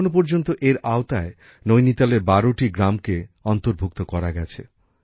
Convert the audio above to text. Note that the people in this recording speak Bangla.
এখনো পর্যন্ত এর আওতায় নৈনিতালের বারোটি গ্রামকে অন্তর্ভুক্ত করা গেছে